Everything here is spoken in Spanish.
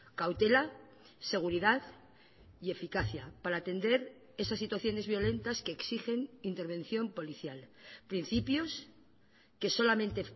cautela seguridad y eficacia para atender esas situaciones violentas que exigen intervención policial principios que solamente